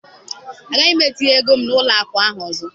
Agaghị m etinye ego m n'ụlọ akụ ahụ ọzọ